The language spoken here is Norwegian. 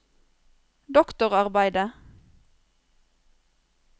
doktorarbeidet